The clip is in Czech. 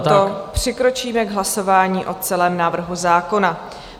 A proto přikročíme k hlasování o celém návrhu zákona.